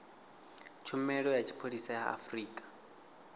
tshumelo ya tshipholisa ya afrika